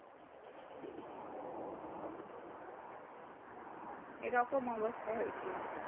এইরকম অবস্থা হয়েছিল